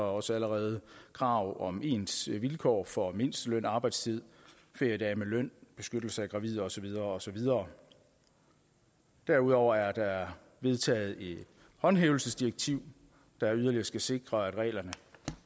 også allerede krav om ens vilkår for mindsteløn arbejdstid feriedage med løn beskyttelse af gravide og så videre og så videre derudover er der vedtaget en håndhævelse af direktivet der yderligere skal sikre at reglerne